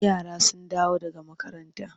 Idan yara sun dawo daga makaranta.